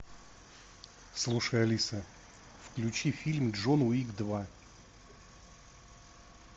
слушай алиса включи фильм джон уик два